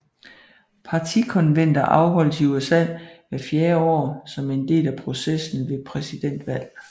Partikonventer afholdes i USA hvert fjerde år som en del af processen ved præsidentvalg